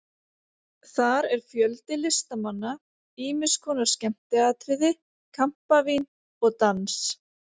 Þar er fjöldi listamanna, ýmiss konar skemmtiatriði, kampavín og dans.